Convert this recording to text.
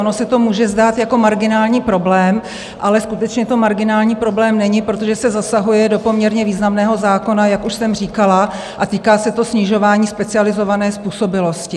Ono se to může zdát jako marginální problém, ale skutečně to marginální problém není, protože se zasahuje do poměrně významného zákona, jak už jsem říkala, a týká se to snižování specializované způsobilosti.